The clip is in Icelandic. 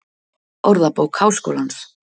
Orðabók Háskólans.